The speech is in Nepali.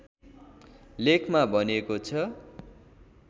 लेखमा भनिएको छ